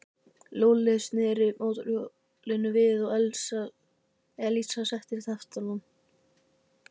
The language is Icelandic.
Lúlli sneri mótorhjólinu við og Elísa settist fyrir aftan hann.